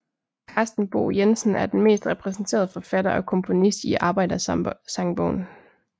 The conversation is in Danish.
Carsten Bo Jensen er den mest repræsenterede forfatter og komponist i Arbejdersangbogen